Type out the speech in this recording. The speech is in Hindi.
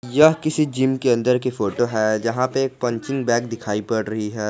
यह किसी जिम के अंदर की फोटो है जहां पे एक पंचिंग बैग दिखाई पड़ रही है।